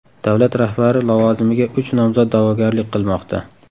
Davlat rahbari lavozimiga uch nomzod da’vogarlik qilmoqda.